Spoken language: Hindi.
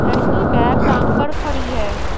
लड़की बैग टांग कर खड़ी है।